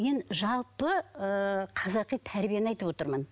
мен жалпы ыыы қазақи тәрбиені айтып отырмын